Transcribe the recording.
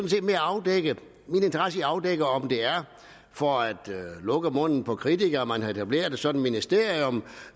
min interesse er afdække om det er for at lukke munden på kritikere at man har etableret et sådant ministerium